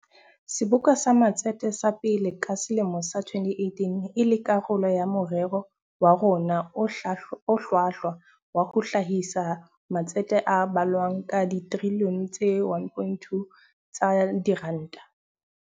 Seboka sa Matsete sa pele ka selemo sa 2018 e le karolo ya morero wa rona o hlwahlwa wa ho hlahisa matsete a balwang ka trilione tse 1.2 tsa diranta.